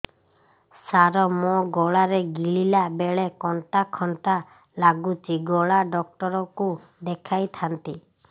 ସାର ମୋ ଗଳା ରେ ଗିଳିଲା ବେଲେ କଣ୍ଟା କଣ୍ଟା ଲାଗୁଛି ଗଳା ଡକ୍ଟର କୁ ଦେଖାଇ ଥାନ୍ତି